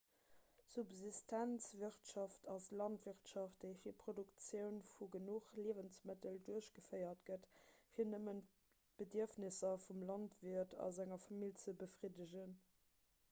subsistenzwirtschaft ass d'landwirtschaft déi fir d'produktioun vu genuch liewensmëttel duerchgeféiert gëtt fir nëmmen d'bedierfnesser vum landwiert a senger famill ze befriddegen